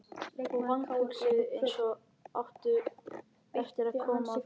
Og vanhugsuðu, eins og átti eftir að koma á daginn.